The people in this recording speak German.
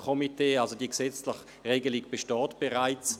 Diese gesetzliche Regelung besteht bereits.